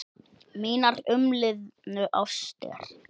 Mínar umliðnu ástir